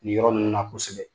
Nin yɔrɔ ninnu na kosɛbɛ